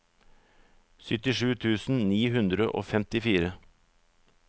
syttisju tusen ni hundre og femtifire